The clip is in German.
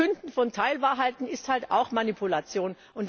Verkünden von Teilwahrheiten ist halt auch Manipulation.